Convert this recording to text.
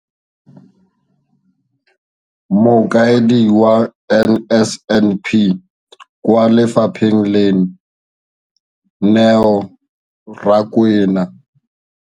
Mokaedi wa NSNP kwa lefapheng leno, Neo Rakwena.